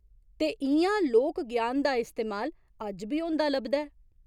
ते इ'यां लोक ज्ञान दा इस्तेमाल अज्ज बी होंदा लभदा ऐ।